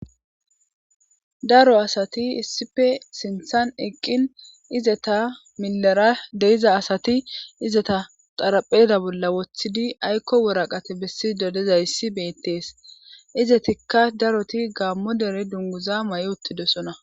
daro asati issife sinthan eqqin izeta milera deiza asati izeta xarapheda bolla woththidi aykko woraqate bessi dodezayssi beettees izetikka daroti gaammo dere dunguza may7 uttidesona